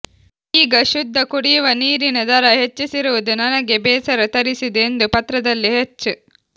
ಈಗ ಶುದ್ಧಕುಡಿಯುವ ನೀರಿನ ದರ ಹೆಚ್ಚಿಸಿರುವುದು ನನಗೆ ಬೇಸರ ತರಿಸಿದೆ ಎಂದು ಪತ್ರದಲ್ಲಿ ಹೆಚ್